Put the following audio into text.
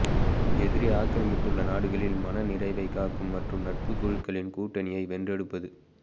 எதிரி ஆக்கிரமித்துள்ள நாடுகளில் மனநிறைவைக் காக்கும் மற்றும் நட்புக் குழுக்களின் கூட்டணியை வென்றெடுப்பது